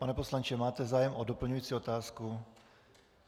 Pane poslanče, máte zájem o doplňující otázku?